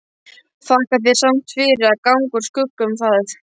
Þakka þér samt fyrir að ganga úr skugga um það.